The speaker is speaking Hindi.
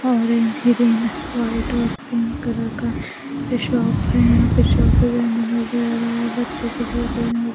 ऑरेंज ग्रीन है वाइट और पिंक कलर का शॉप है यहाँ पर शॉप पे बच्चों के जूते भी मि --